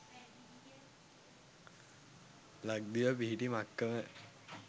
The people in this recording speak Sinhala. ලක්දිව පිහිටි මක්කම